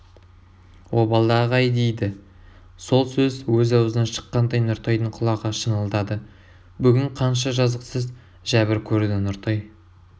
обалдағы-ай дейді сол сөз өз аузынан шыққандай нұртайдың құлағы шыңылдады бүгін қанша жазықсыз жәбір көрді нұртай